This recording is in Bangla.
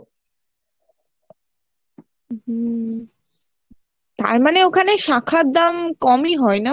হুম, তারমানে ওখানে শাখার দাম কমই হয় না ?